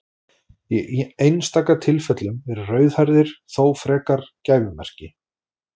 Í einstaka tilfellum eru rauðhærðir þó frekar gæfumerki.